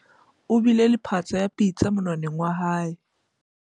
o bile le phatsa ya patsi monwaneng wa hae